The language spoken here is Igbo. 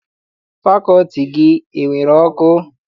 Fakọlti gị enwere ọkụ?